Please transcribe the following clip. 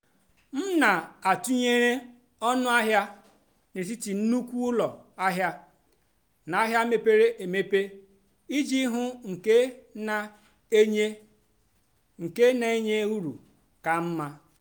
m nà-àtụ́nyeré ónú àhịá n'étìtì nnùkwú ụ́lọ àhịá nà àhịá mépérè émépérè ìjì hụ́ nkè nà-ènyé nkè nà-ènyé ùrù kà mmá.